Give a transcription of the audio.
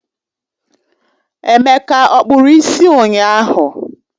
Emeka ọ kpụrụ isi ụnyahụ?